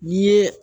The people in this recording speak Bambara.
N'i ye